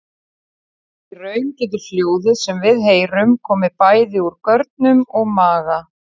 Í raun getur hljóðið sem við heyrum komið bæði úr görnum og maga.